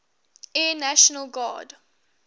air national guard